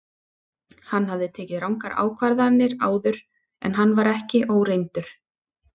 Hann hafði tekið rangar ákvarðanir áður en hann var ekki óreyndur.